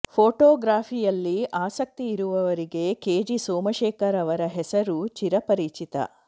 ಫೋಟೋಗ್ರಫಿಯಲ್ಲಿ ಆಸಕ್ತಿ ಇರುವವರಿಗೆ K G Somashekar ಅವರ ಹೆಸರು ಚಿರಪರಿಚಿತ